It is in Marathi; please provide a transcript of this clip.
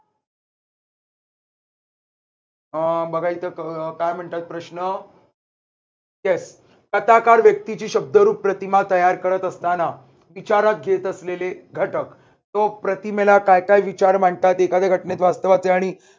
अह बघा इथं काय म्हणतात प्रश्न yes कथाकार व्यक्तीची शब्दरूप प्रतिमा तयार करत असताना विचारात घेत असलेले घटक. तो प्रतिमेला काय काय विचार मांडतात एखाद्या घटनेत वास्तवाचे आणि